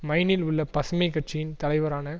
மைனில் உள்ள பசுமை கட்சியின் தலைவரான